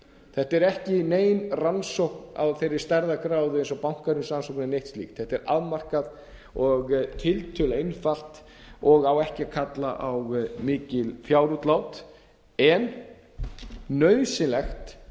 þetta er ekki nein rannsókn á þeirri stærðargráðu eins og bankahrunsrannsóknin eða neitt slíkt þetta er afmarkað og tiltölulega einfalt og á ekki að kalla á mikil fjárútlát en nauðsynlegt